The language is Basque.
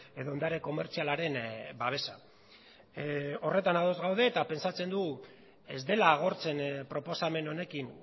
edo ondare komertzialaren babesa horretan ados gaude eta pentsatzen dugu ez dela agortzen proposamen honekin